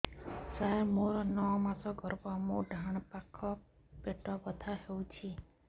ସାର ମୋର ନଅ ମାସ ଗର୍ଭ ମୋର ଡାହାଣ ପାଖ ପେଟ ବଥା ହେଉଛି